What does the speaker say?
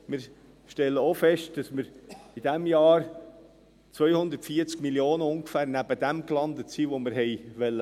Wir stellen auch fest, dass wir in diesem Jahr ungefähr 240 Mio. Franken neben dem gelandet sind, wo wir haben landen wollen.